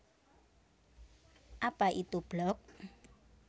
Apa Itu Blog